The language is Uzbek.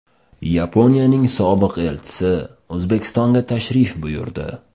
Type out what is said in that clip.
Yaponiyaning sobiq elchisi O‘zbekistonga tashrif buyurdi.